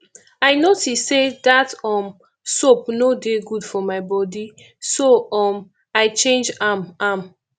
i notice say dat um soap no dey good for my body so um i change am am